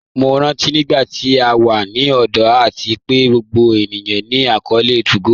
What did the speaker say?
Mo rántí nígbàtí à wà ní ọ̀dọ̀ àti pé gbogbo ènìyàn ní akọọlẹ̀ 2go